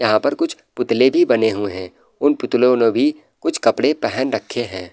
यहाँ पर कुछ पुतले भी बने हुए हैं उन पुतलो नो भी कुछ कपड़े पहन रखे हैं।